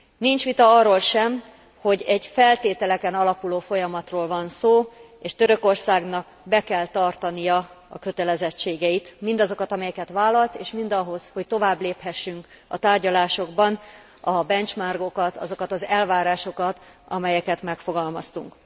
Nincs vita arról sem, hogy egy feltételeken alapuló folyamatról van szó, és Törökországnak be kell tartania a kötelezettségeit, mindazokat, amelyeket vállalt és ahhoz, hogy tovább léphessünk a tárgyalásokban, a benchmarkokat, azokat az elvárásokat, amelyeket megfogalmaztunk.